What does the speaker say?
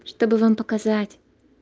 чтобы вам показать